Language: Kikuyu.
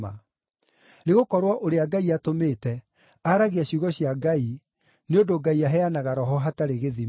Nĩgũkorwo ũrĩa Ngai atũmĩte aragia ciugo cia Ngai nĩ ũndũ Ngai aheanaga Roho hatarĩ gĩthimi.